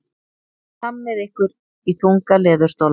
Hlammið ykkur í þunga leðurstóla.